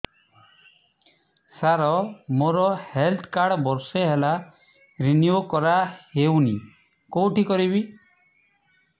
ସାର ମୋର health card ବର୍ଷେ ହେଲା ରିନିଓ କରା ହଉନି କଉଠି କରିବି